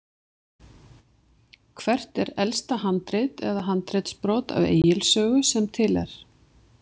Hvert er elsta handrit eða handritsbrot af Egils sögu sem til er?